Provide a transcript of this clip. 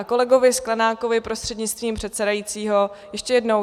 A kolegovi Sklenákovi prostřednictvím předsedajícího ještě jednou.